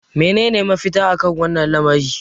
menene mafita? akan wannan lamari